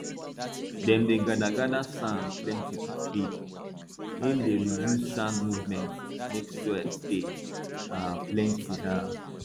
dem dey gather gather sand plenty for field hem dey reduce sand movement make soil stay um plenty um